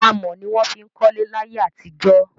Amọ̀ ni wón fiń kọ́lẹ́ láyẹ́ àti jó